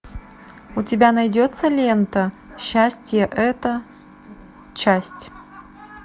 у тебя найдется лента счастье это часть